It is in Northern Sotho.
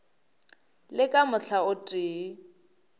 le ka mohla o tee